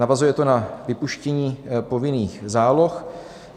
Navazuje to na vypuštění povinných záloh.